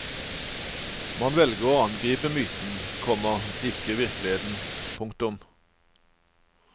Man velger å angripe myten, komma ikke virkeligheten. punktum